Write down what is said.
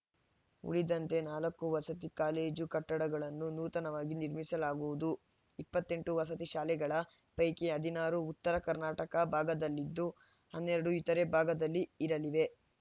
ಉಳಿದಂತೆ ನಾಲ್ಕು ವಸತಿ ಕಾಲೇಜು ಕಟ್ಟಡಗಳನ್ನು ನೂತನವಾಗಿ ನಿರ್ಮಿಸಲಾಗುವುದು ಇಪ್ಪತ್ತೆಂಟು ವಸತಿ ಶಾಲೆಗಳ ಪೈಕಿ ಹದಿನಾರು ಉತ್ತರ ಕರ್ನಾಟಕ ಭಾಗದಲ್ಲಿದ್ದು ಹನ್ನೆರಡು ಇತರೆ ಭಾಗದಲ್ಲಿರಲಿವೆ